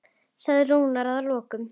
sagði Rúnar að lokum.